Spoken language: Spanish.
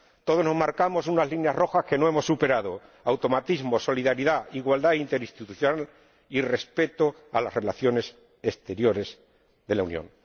Todos nos marcamos unas líneas rojas que no hemos superado automatismo, solidaridad, igualdad interinstitucional y respeto a las relaciones exteriores de la Unión.